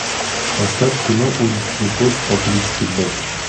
поставь кино уличный кот по кличке боб